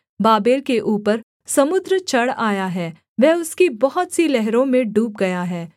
Babel के ऊपर समुद्र चढ़ आया है वह उसकी बहुत सी लहरों में डूब गया है